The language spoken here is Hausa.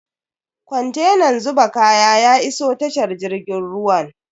Kontenan zuba kaya ya iso tashar jirgin ruwan.